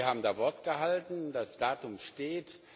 Sie haben da Wort gehalten, das Datum steht.